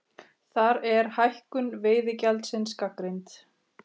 Þar er hækkun veiðigjaldsins gagnrýnd